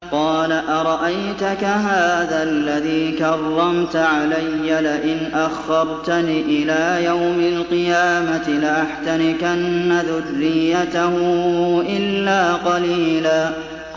قَالَ أَرَأَيْتَكَ هَٰذَا الَّذِي كَرَّمْتَ عَلَيَّ لَئِنْ أَخَّرْتَنِ إِلَىٰ يَوْمِ الْقِيَامَةِ لَأَحْتَنِكَنَّ ذُرِّيَّتَهُ إِلَّا قَلِيلًا